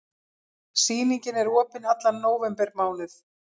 Sýningin er opin allan nóvembermánuð.